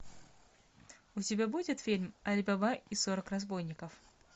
у тебя будет фильм али баба и сорок разбойников